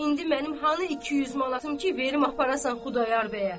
İndi mənim hanı iki yüz manatım ki, verim aparasan Xudayar bəyə?